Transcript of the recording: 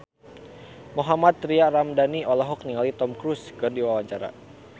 Mohammad Tria Ramadhani olohok ningali Tom Cruise keur diwawancara